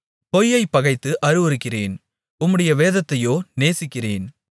பொய்யைப் பகைத்து அருவருக்கிறேன் உம்முடைய வேதத்தையோ நேசிக்கிறேன்